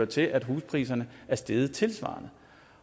til at huspriserne er steget tilsvarende